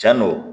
Cɛn do